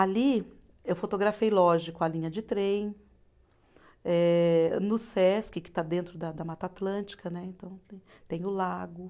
Ali eu fotografei, lógico, a linha de trem, eh no Sesc, que está dentro da da Mata Atlântica né, então tem, tem o lago.